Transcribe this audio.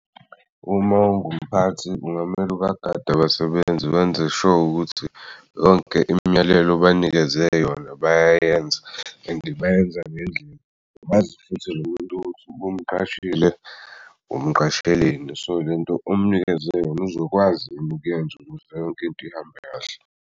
Uma ungumphathi ungamele ubagade abasebenzi benze-sure ukuthi yonke imiyalelo obanikeze yona bayayenza and bayenza ngendlela nomuntu ubumqashile umqasheleni so lento omnikeze yona uzokwazi yini ukuyenza ukuze yonke into ihambe kahle.